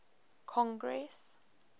congress